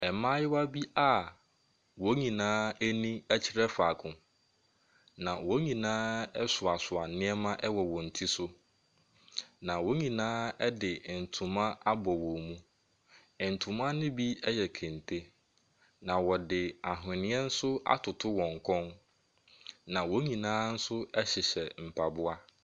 Mmaayewa bi a wɔn nyinaa ani kyerɛ faako, na wɔn nyinaa soasoa nneɛma ɛwɔ wɔn ti so. Na wɔn nyinaa de ntoma bɔ wɔn mu. Ntoma no bi yɛ kente na wɔde anhwene nso atoto wn kɔn. Na wɔn nyinaa nso ɛhyehyɛ mfaboa.